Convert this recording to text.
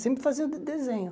Sempre fazer o de desenho.